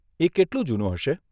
એ કેટલું જૂનું હશે?